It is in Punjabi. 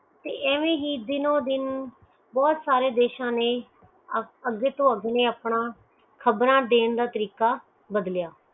ਤੇ ਐਵੇ ਹੀ ਦੀਨੋ ਦਿਨ ਬਹੁਤ ਸਾਰੇ ਦੇਸ਼ ਨੈ ਅਗੇ ਤੋਂ ਅਗੇ ਆਪਣਾ ਖ਼ਬਰ ਦੇਣ ਦਾ ਤਾਰਿਕਾ ਬਦਲਿਆ